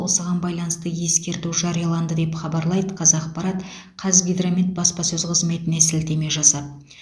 осыған байланысты ескерту жарияланды деп хабарлайды қазақпарат қазгидромет баспасөз қызметіне сілтеме жасап